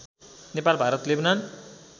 Nepal Bharat Lebanon